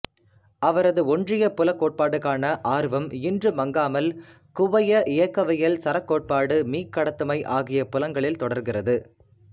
அவரது ஒன்றிய புலக் கோட்பாட்டுக்கான ஆர்வம் இன்றும் மங்காமல் குவைய இயக்கவியல் சரக் கோட்பாடு மீக்கடத்துமை ஆகிய புலங்களில் தொடர்கிறது